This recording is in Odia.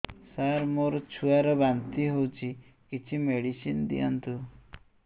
ସାର ମୋର ଛୁଆ ର ବାନ୍ତି ହଉଚି କିଛି ମେଡିସିନ ଦିଅନ୍ତୁ